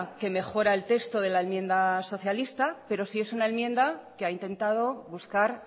que mejora el texto de la enmienda socialista pero sí es una enmienda que ha intentado buscar